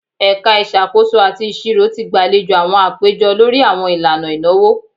Ẹka Isakoso ati Iṣiro ti gbalejo awọn apejọ lori awọn ilana inawo